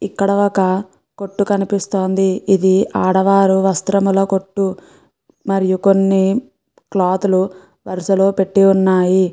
ఇక్కడ ఒక కొట్టు కనిపిస్తోంది. ఇది ఆడవారి వస్త్రముల కొట్టు మరియు కొన్ని క్లాత్ లు వరస లో పెట్టి ఉన్నాయి.